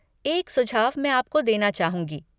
एक सुझाव मैं आपको देना चाहूँगी।